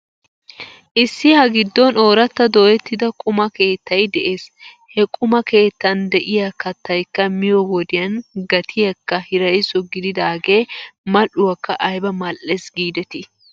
Issi ha giddon ooratta dooyettida quma keetay de'ees. He quma keettan ka'iyaa kattaykka miyoo wodiyan gatiyaakka hirayso gididaagee mal'uwaakka ayba mal'ees giidetii!